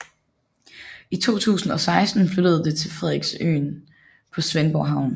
I 2016 flyttede det til Frederiksøen på Svendborg Havn